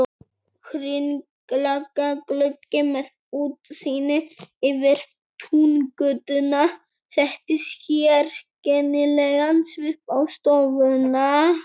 Hringlaga gluggi með útsýni yfir Túngötuna setti sérkennilegan svip á stofuna.